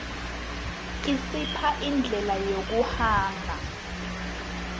isipha indlela yokuhamba